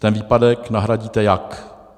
Ten výpadek nahradíte jak?